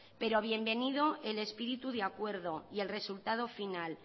pero bienvenido el espíritu de acuerdo y el resultado final